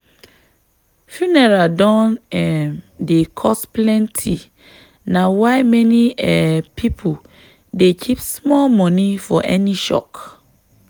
funeral don um dey cost plenty na why many um people dey keep small money for any shock.